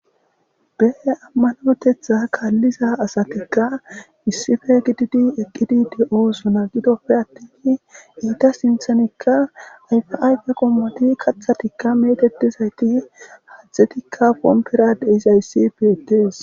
Be Amanotetha kaliza asatika issippe gidid eqid de'osona gidoppe attin enta sinthanka ayfa ayfe qomot, kathatika metetizayt hathetika pompera dizays betes.